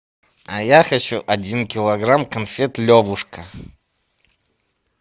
а я хочу один килограмм конфет левушка